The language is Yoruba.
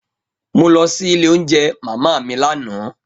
Mo lọ si ile ounjẹ mama mi lana.